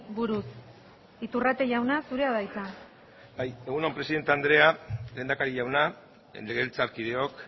buruz iturrate jauna zurea da hitza egun on presidente andrea lehendakari jauna legebiltzarkideok